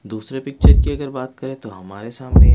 दूसरे पिक्चर की अगर बात करें तो हमारे सामने--